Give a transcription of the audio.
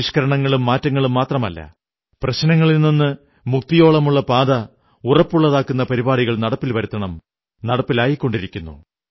പരിഷ്കരണങ്ങളും മാറ്റങ്ങളും മാത്രമല്ല പ്രശ്നങ്ങളിൽ നിന്നു മുക്തിയോളമുള്ള പാത ഉറപ്പുള്ളതാക്കുന്ന പരിപാടികൾ നടപ്പിൽ വരുത്തണം നടപ്പിലായിക്കൊണ്ടിരിക്കുന്നു